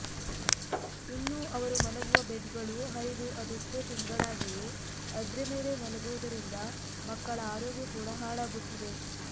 ಇನ್ನು ಅವರು ಮಲಗುವ ಬೆಡ್ ಗಳು ಹರಿದು ಅದೆಷ್ಟೋ ತಿಂಗಳಾಗಿವೆ ಅದ್ರೆ ಮೇಲೆ ಮಲಗುವುದರಿಂದ ಮಕ್ಕಳ ಆರೋಗ್ಯ ಕೂಡಾ ಹಾಳಾಗುತ್ತಿದೆ